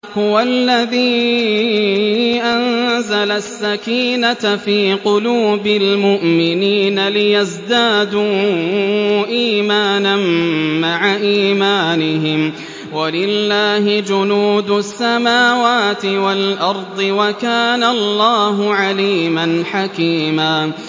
هُوَ الَّذِي أَنزَلَ السَّكِينَةَ فِي قُلُوبِ الْمُؤْمِنِينَ لِيَزْدَادُوا إِيمَانًا مَّعَ إِيمَانِهِمْ ۗ وَلِلَّهِ جُنُودُ السَّمَاوَاتِ وَالْأَرْضِ ۚ وَكَانَ اللَّهُ عَلِيمًا حَكِيمًا